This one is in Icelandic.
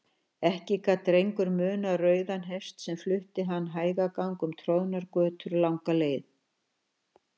Ekki gat Drengur munað rauðan hest sem flutti hann hægagang um troðnar götur langa leið.